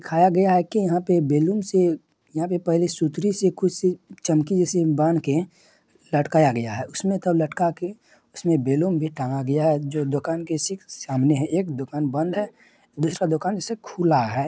दिखाया गया है की यहां पे बलून्स है यहां पे पहले सूतरी से कुछ चमकी जैसे बांध के लटकाया गया है उसमे सब लटका के उसमे बैलून भी टांगा गया है जो दुकान के ठीक सामने है एक दुकान बंद है दूसरा दुकानखुला है।